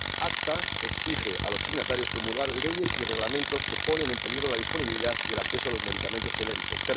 El ACTA exige a los signatarios promulgar leyes y reglamentos que ponen en peligro la disponibilidad y el acceso a los medicamentos genéricos.